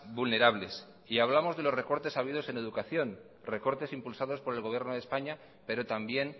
vulnerables y hablamos de los recortes habidos en educación recortes impulsados por el gobierno de españa pero también